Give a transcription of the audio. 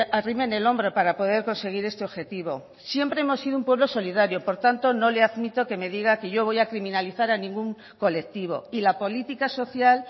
arrimen el hombre para poder conseguir este objetivo siempre hemos sido un pueblo solidario por tanto no le admito que me diga que yo voy a criminalizar a ningún colectivo y la política social